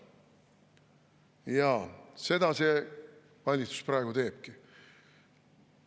Jaa, seda see valitsus praegu teebki.